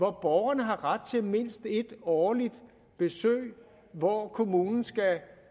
at borgerne har ret til mindst ét årligt besøg hvor kommunen